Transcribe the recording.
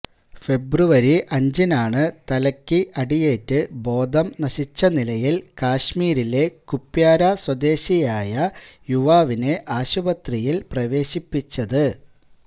ഫെബ്രുവരി അഞ്ചിനാണ് തലയ്ക്ക് അടിയേറ്റ് ബോധം നശിച്ച നിലയിൽ കശ്മീരിലെ കുപ്വാര സ്വദേശിയായ യുവാവിനെ ആശുപത്രിയില് പ്രവേശിപ്പിച്ചത്